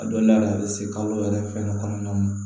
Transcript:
A donda la a bɛ se kalo yɛrɛ fɛngɛ kɔnɔna na